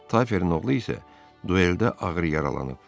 Taferin oğlu isə dueldə ağır yaralanıb.